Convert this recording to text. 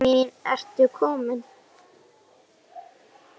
Ásta mín ertu komin?